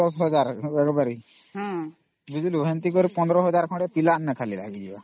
ଟେ ଅମ୍ ବୁଝିଲୁ ତାର ଖର୍ଚ୍ଚ ତା ଅତି କମ ରେ 15000 ଖଣ୍ଡେ ହବ